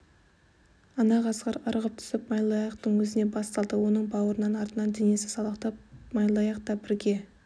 ана қасқыр ырғып түсіп майлыаяқтың өзіне бас салды оның бауырының астынан денесі салақтап майлыаяқ та бірге